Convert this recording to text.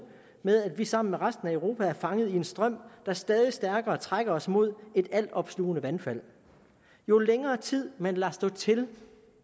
med at vi sammen med resten af europa er fanget i en strøm der stadig stærkere trækker os mod et alt opslugende vandfald jo længere tid man lader stå til